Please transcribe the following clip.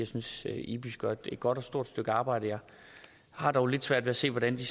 synes at ibis gør et godt og stort stykke arbejde jeg har dog lidt svært ved at se hvordan de